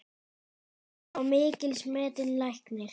Nanna var mikils metinn læknir.